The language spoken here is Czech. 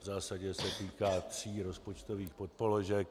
V zásadě se týká tří rozpočtových podpoložek.